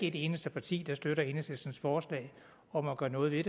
et eneste parti der støtter enhedslistens forslag om at gøre noget ved